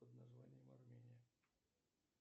под названием армения